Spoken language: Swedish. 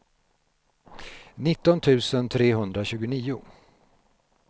nitton tusen trehundratjugonio